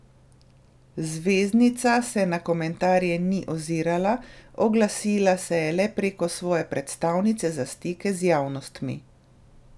Zvezdnica se na komentarje ni ozirala, oglasila se je le preko svoje predstavnice za stike z javnostmi.